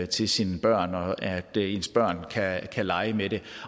til sine børn og at ens børn kan lege med det